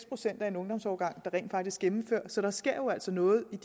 procent af en ungdomsårgang der rent faktisk gennemfører så der sker jo altså noget i